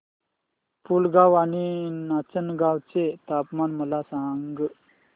पुलगांव आणि नाचनगांव चे तापमान मला सांग